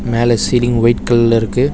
மேல ceiling white கலர்ல இருக்கு.